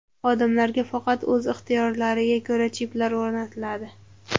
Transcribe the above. Xodimlarga faqat o‘z ixtiyorlariga ko‘ra chiplar o‘rnatiladi.